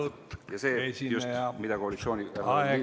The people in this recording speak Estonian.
Lugupeetud esineja!